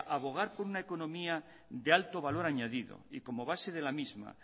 abogar por una economía de alto valor añadido y como base de la misma